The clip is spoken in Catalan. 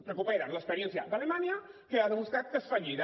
recuperen l’experiència d’alemanya que ha demostrat que és fallida